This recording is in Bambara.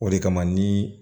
O de kama ni